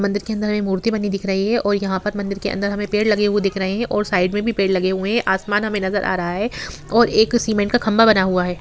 मंदिर के अंदर हमें मूर्ति बनी हुई दिख रही है और यहां मंदिर के अंदर पेड़ लगे हुए दिख रहे है और साइड मे भी पेड़ लगे हुए हैं आसमान हमे नज़र आ रहा है और एक सीमेंट का खंभा बना हुआ हैं।